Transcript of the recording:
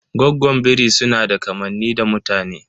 Goggon biri sunada kamanni da mutane.